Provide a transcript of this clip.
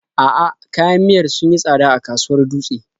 A'a, kayan miyar sun yi tsada a kasuwar Dutse.